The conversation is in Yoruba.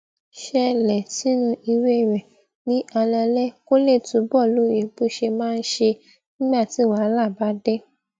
ṣẹlè sínú ìwé rè ní alaalé kó lè túbò lóye bó ṣe máa ń ṣe nígbà tí wàhálà bá dé